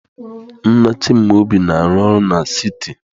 Nna Chimaobi na-arụ ọrụ na siti.